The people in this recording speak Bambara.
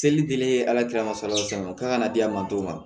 Seli tɛlen ye ala ka salatin na k'a ka na di a ma dɔw ma